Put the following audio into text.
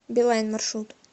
билайн маршрут